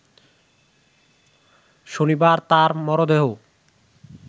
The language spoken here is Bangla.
শনিবার তাঁর মরদেহ